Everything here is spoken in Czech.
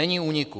Není úniku!